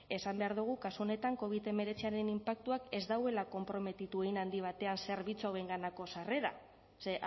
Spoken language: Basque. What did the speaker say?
esan behar dogu kasu honetan covid hemeretziaren inpaktuak ez dauela konprometitu hein handi batean zerbitzu hauenganako sarrera ze